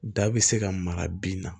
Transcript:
Da bɛ se ka mara bin na